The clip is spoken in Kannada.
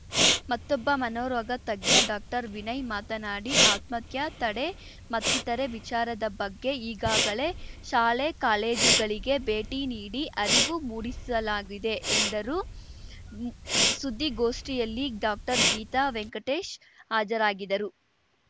ಮತ್ತೊಬ್ಬ ಮನೋರೋಗ ತಜ್ಞ ಡಾಕ್ಟರ್ವಿನಯ್‌ ಮಾತನಾಡಿ ಆತ್ಮಹತ್ಯೆ ತಡೆ ಮತ್ತಿತರೆ ವಿಚಾರದ ಬಗ್ಗೆ ಈಗಾಗಲೇ ಶಾಲೆ ಕಾಲೇಜುಗಳಿಗೆ ಭೇಟಿ ನೀಡಿ ಅರಿವು ಮೂಡಿಸಲಾಗಿದೆ ಎಂದರು ಸುದ್ದಿಗೋಷ್ಠಿಯಲ್ಲಿ ಡಾಕ್ಟರ್ಗೀತಾ ವೆಂಕಟೇಶ್‌ ಹಾಜರಾಗಿದರು